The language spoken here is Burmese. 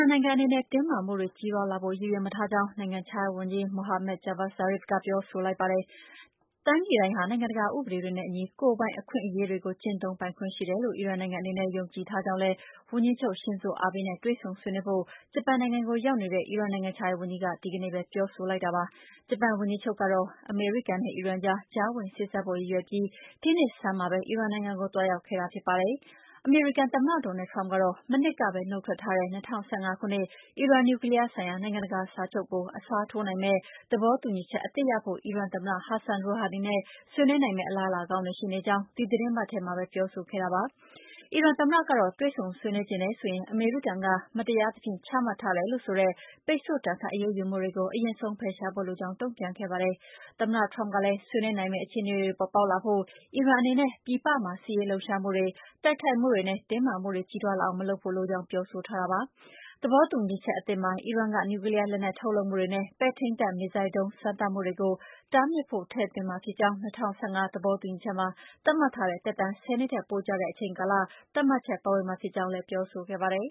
န်နိုင်ငံ အနေနဲ့ တင်းမာမှုတွေ ကြီးထွားလာဖို့ ရည်ရွယ်မထားကြောင်း နိုင်ငံခြားရေးဝန်ကြီး Mohammad Javad Zarif က ပြောဆိုလိုက်ပါတယ်။ တိုင်းပြည်တိုင်းဟာ နိုင်ငံတကာ ဥပဒေတွေနဲ့အညီ ကိုယ်ပိုင်အခွင့်အရေးတွေကို ကျင့်သုံးပိုင်ခွင့် ရှိတယ်လို့ အီရန်နိုင်ငံအနေနဲ့ ယုံကြည်ထားကြောင်းလည်း ဝန်ကြီးချုပ် Shinzo Abe နဲ့ တွေ့ဆုံဆွေးနွေးဖို့ ဂျပန်နိုင်ငံကို ရောက်နေတဲ့ အီရန်နိုင်ငံခြားရေးဝန်ကြီးက ဒီနေ့ပဲ ပြောလိုက်တာပါ။ ဂျပန်ဝန်ကြီးချုပ်ကတော့ အမေရိကန်နဲ့ အီရန်ကြား ကြားဝင်စေ့စပ်ဖို့ ရည်ရွယ်ပြီး ဒီနှစ်ဆန်းမှာပဲ အီရန်နိုင်ငံကို သွားရောက်ခဲ့တာ ဖြစ်ပါတယ်။ အမေရိကန်သမ္မတ Donald Trump ကတော့ မနှစ်ကပဲ နှုတ်ထွက်ထားတဲ့ ၂၀၁၅ ခုနှစ် အီရန်နျူကလီးယားဆိုင်ရာ နိုင်ငံတကာစာချုပ်ကို အစားထိုးနိုင်မယ့် သဘောတူညီချက်အသစ်ရဖို့ အီရန်သမ္မတ Hassan Rouhani နဲ့ ဆွေးနွေးနိုင်မယ့် အလားအလာကောင်းတွေ ရှိနေကြောင်း ဒီသီတင်းပတ်ထဲမှာပဲ ပြောဆိုခဲ့တာပါ။ အီရန်သမ္မတကတော့ တွေ့ဆုံဆွေးနွေးချင်တယ်ဆိုရင် အမေရိကန်က မတရားသဖြင့် ချမှတ်ထားတယ်လို့ဆိုတဲ့ ပိတ်ဆို့ဒဏ်ခတ် အရေးယူမှုတွေကို အရင်ဆုံး ဖယ်ရှားဖို့လိုကြောင်း တုန့်ပြန်ခဲ့ပါတယ်။ သမ္မတ Trump ကလည်း ဆွေးနွေးနိုင်မယ့် အခြေအနေတွေ ပေါ်ပေါက်လာဖို့ အီရန်အနေနဲ့ ပြည်ပမှာ စစ်ရေးလှုပ်ရှားမှုတွေ၊ တိုက်ခိုက်မှုတွေနဲ့ တင်းမာမှုတွေ ကြီးထွားလာအောင် မလုပ်ဖို့လိုကြောင်း ပြောဆိုထားတာပါ။ သဘောတူညီချက်အသစ်မှာ အီရန်က နျူကလီးယားလက်နက် ထုတ်လုပ်မှုတွေနဲ့ ပဲ့ထိန်းတပ် မစ်ဇိုင်းဒုံး စမ်းသပ်မှုတွေကို တားမြစ်ဖို့ ထည့်သွင်းမှာဖြစ်ကြောင်းနဲ့ ၂၀၁၅ သဘောတူညီချက်မှာ သတ်မှတ်ထားတဲ့ သက်တမ်း ၁၀ နှစ်ထက် ပိုကြာတဲ့ အချိန်ကာလ သတ်မှတ်ချက် ပါဝင်မှာဖြစ်ကြောင်းလည်း ပြောဆိုခဲ့ပါတယ်